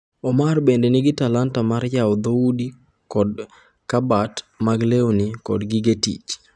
Omar bende nigi talanta mar yawo dhoudi kod kabat mag lewni kod gige tich.